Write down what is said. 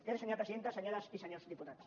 gràcies senyora presidenta senyores i senyors diputats